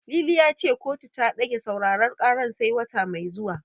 Lili ya ce kotu ta ɗage sauraren karar sai wata mai zuwa.